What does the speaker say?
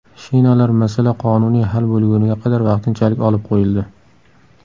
Shinalar masala qonuniy hal bo‘lguniga qadar vaqtinchalik olib qo‘yildi.